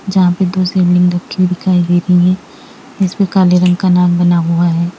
जहां पपे दो शिवलिंग दिखाई दे रही हैं इस पर काले रंग का नाग बना हुआ है।